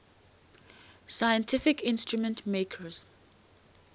scientific instrument makers